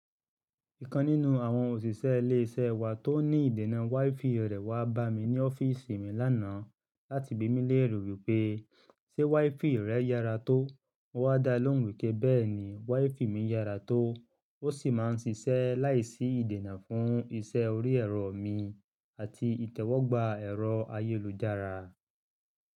Ìkan nínú àwọn òṣìṣẹ́ ilé iṣẹ́ wa tó ní ìdènà WiFi rẹ̀ wá bá mi ní ọ́fíìsì mi lánàá láti bí mi léère wípé, "ṣé WiFi rẹ yára tó?" mo wá dá lóhùn wípé bẹ́ẹ̀ni WiFi mi yára tó, ó sì máa ń ṣiṣẹ́ láìsí ìdènà fún iṣẹ́ orí ẹ̀rọ mi àti ìtẹ́wọ́gbà ẹ̀rọ ayélujára.